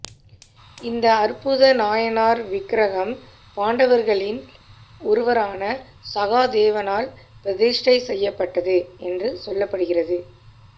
இந்த அற்புத நாராயணர் விக்ரகம் பாண்டவர்களில் ஒருவனான சகாதேவனால் பிரதிஷ்டை செய்யப்பட்டது என்று சொல்லப்படுகிறது